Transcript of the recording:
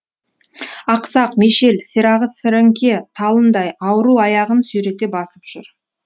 ақсақ мешел сирағы сіріңке талындай ауру аяғын сүйрете басып жүр